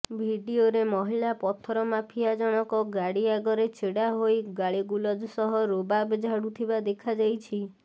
ଭିଡିଓରେ ମହିଳା ପଥର ମାଫିଆ ଜଣକ ଗାଡି ଆଗରେ ଛିଡ଼ା ହୋଇ ଗାଳି ଗୁଳଜ ସହ ରୋବାବ୍ ଝାଡୁଥିବା ଦେଖାଯାଇଛି